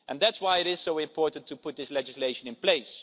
That's why it is so important to put this legislation in place.